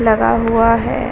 लगा हुआ है --